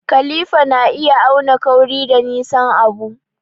Kalifa na iya auna kauri da nisan abu.